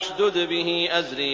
اشْدُدْ بِهِ أَزْرِي